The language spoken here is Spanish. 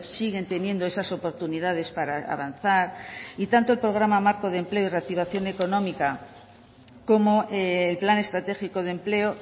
siguen teniendo esas oportunidades para avanzar y tanto el programa marco de empleo y reactivación económica como el plan estratégico de empleo